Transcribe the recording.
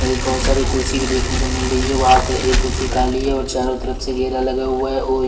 ये बहोत सारी कुर्सी भी देखने को मिल रही है वहां पे एक कुर्सी खाली है और चारों तरफ से घेरा लगा हुआ है ओय--